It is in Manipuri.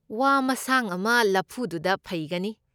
ꯋꯥ ꯃꯁꯥꯡ ꯑꯃ ꯂꯐꯨꯗꯨꯗ ꯐꯩꯒꯅꯤ꯫